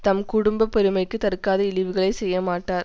தம் குடும்ப பெருமைக்கு தர்காத இழிவுகளைச் செய்யமாட்டார்